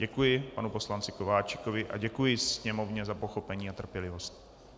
Děkuji panu poslanci Kováčikovi a děkuji Sněmovně za pochopení a trpělivost.